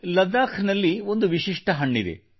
ಲದ್ದಾಖ್ ನಲ್ಲಿ ಒಂದು ವಿಶಿಷ್ಟ ಹಣ್ಣಿದೆ